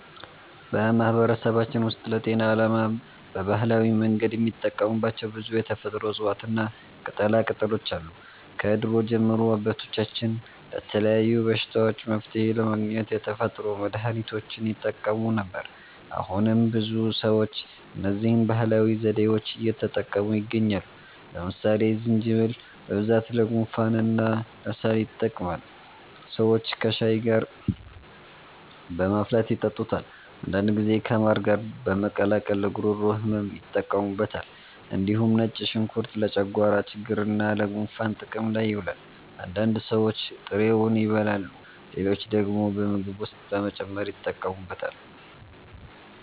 በማህበረሰባችን ውስጥ ለጤና ዓላማ በባህላዊ መንገድ የሚጠቀሙባቸው ብዙ የተፈጥሮ እፅዋትና ቅጠላቅጠሎች አሉ። ከድሮ ጀምሮ አባቶቻችን ለተለያዩ በሽታዎች መፍትሔ ለማግኘት የተፈጥሮ መድሀኒቶችን ይጠቀሙ ነበር። አሁንም ብዙ ሰዎች እነዚህን ባህላዊ ዘዴዎች እየተጠቀሙ ይገኛሉ። ለምሳሌ ዝንጅብል በብዛት ለጉንፋንና ለሳል ይጠቅማል። ሰዎች ከሻይ ጋር በማፍላት ይጠጡታል። አንዳንድ ጊዜ ከማር ጋር በመቀላቀል ለጉሮሮ ህመም ይጠቀሙበታል። እንዲሁም ነጭ ሽንኩርት ለጨጓራ ችግርና ለጉንፋን ጥቅም ላይ ይውላል። አንዳንድ ሰዎች ጥሬውን ይበላሉ፣ ሌሎች ደግሞ በምግብ ውስጥ በመጨመር ይጠቀሙበታል።